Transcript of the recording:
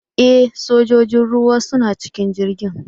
E! sojojin ruwa suna cikin jirgin.